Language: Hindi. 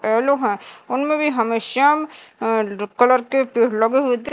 येलो है उनमें भी हमे श्याम अं कलर के पेड़ लगे हुए दि--